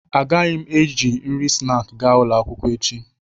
Agaghị m eji nri snaakị gaa ụlọ akwụkwọ echi